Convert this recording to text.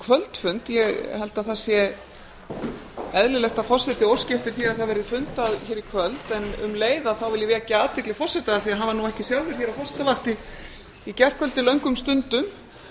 kvöldfund ég held að það eðlilegt að forseti óski eftir því að það verði fundað hér í kvöld en um leið þá vil ég vekja athygli forseta af því hann var nú ekki sjálfur hér á forsetavakt hér í gærkvöldi löngum stundum